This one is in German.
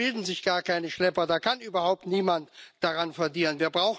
Da gibt es gar keine Schlepper, da kann überhaupt niemand daran verdienen.